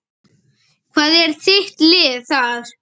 Hvað er þitt lið þar?